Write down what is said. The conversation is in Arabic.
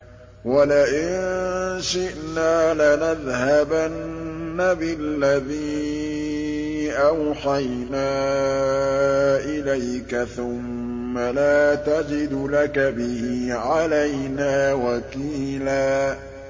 وَلَئِن شِئْنَا لَنَذْهَبَنَّ بِالَّذِي أَوْحَيْنَا إِلَيْكَ ثُمَّ لَا تَجِدُ لَكَ بِهِ عَلَيْنَا وَكِيلًا